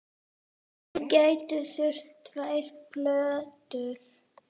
Þið gætuð þurft tvær plötur.